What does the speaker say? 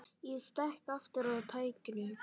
Ég slekk aftur á tækinu.